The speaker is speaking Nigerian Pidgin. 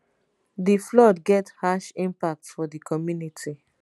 di flood get harsh impact for di community